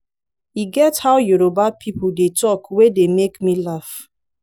e get how yoruba people dey talk wey dey make make me laugh